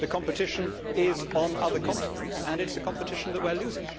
The competition is on other continents and it is a competition that we are losing.